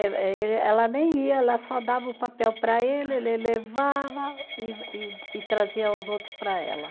Ela eh ele, ela nem ia, ela só dava o papel para ele, ele levava e e e trazia os outros para ela.